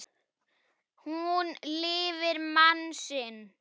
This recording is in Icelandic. Hún lifir mann sinn.